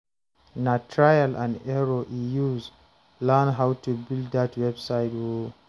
Na trial and error e use learn how to build dat website o.